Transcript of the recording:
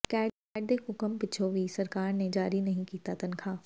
cat ਦੇ ਹੁਕਮ ਪਿੱਛੋਂ ਵੀ ਸਰਕਾਰ ਨੇ ਜਾਰੀ ਨਹੀਂ ਕੀਤੀ ਤਨਖਾਹ